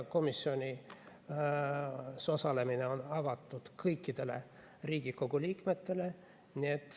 Komisjonis osalemine on avatud kõikidele Riigikogu liikmetele.